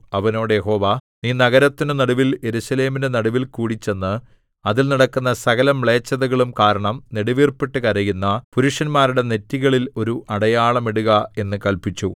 അവനോട് യഹോവ നീ നഗരത്തിന്റെ നടുവിൽ യെരൂശലേമിന്റെ നടുവിൽകൂടി ചെന്ന് അതിൽ നടക്കുന്ന സകലമ്ലേച്ഛതകളും കാരണം നെടുവീർപ്പിട്ടു കരയുന്ന പുരുഷന്മാരുടെ നെറ്റികളിൽ ഒരു അടയാളം ഇടുക എന്ന് കല്പിച്ചു